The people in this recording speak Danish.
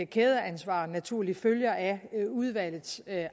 kædeansvar naturligt følger af udvalgets